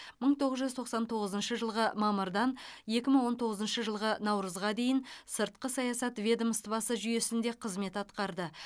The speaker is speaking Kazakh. мың тоғыз жүз тоқсан тоғызыншы жылғы мамырдан екі мың он тоғызыншы жылғы наурызға дейін сыртқы саясат ведомствосы жүйесінде қызмет атқарды